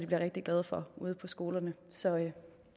bliver rigtig glade for ude på skolerne så